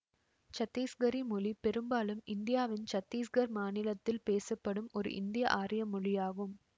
சத்திசுகரி மொழி பெரும்பாலும் இந்தியாவின் சத்தீசுகர் மாநிலத்தில் பேசப்படும் ஒரு இந்தியஆரிய மொழியாகும்